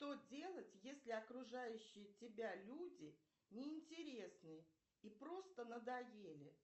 что делать если окружающие тебя люди неинтересны и просто надоели